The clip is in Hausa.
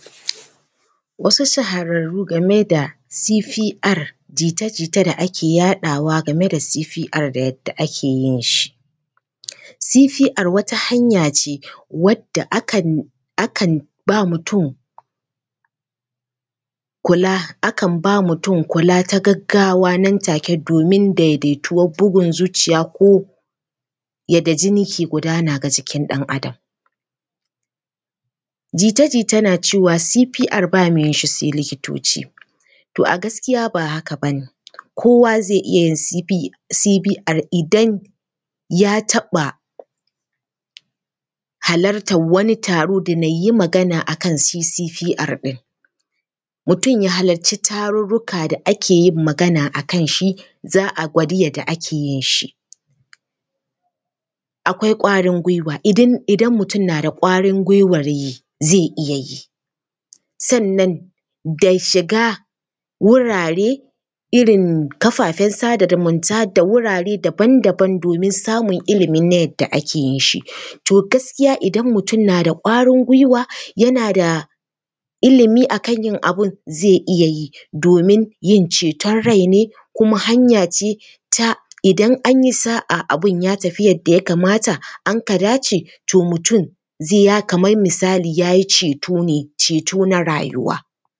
Wasu sahararru game da CPR. jita-jita da ake yaɗawa game da CPR da yadda ake yin shi. CPR wata hanya ce wadda akan, akan ba mutum kula, akan ba mutum kula ta gaggawa nan take domin daidaituwar bugun zuciya ko yadda jini ke gudana ga jikin ɗan Adam. Jita-jita na cewa CPR ba mai yin shi sai likitoci. To a gaskiya ba haka ba ne, kowa zai iya yin CPR idan ya taɓa halartar wani taro da nayyi magana a kan CPR ɗin. Mutum ya halarci taro da ake yin magana a kan shi, za a gwadi yadda ake yin shi. Akwai ƙwarin gwiwa idan mutum na da ƙwarin gwiwar yi, zai iya yi. Sannan da shiga wurare irin kafafen sada zumunta da wurare daban daban domin samun ilimi na yadda ake yinshi. To gaskiya idan mutum na da ƙwarin gwiwa, yana da ilimi a kana bin zai iya yi domin yin ceton rai ne kuma hanya ce ta idan an yi sa’a abin ya tafi kamar yadda ya kamata anka dace, to mutum zai ya kamar ya yi ceto ne, ceto na rayuwa.